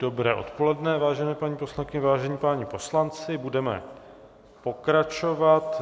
Dobré odpoledne, vážené paní poslankyně, vážení páni poslanci, budeme pokračovat.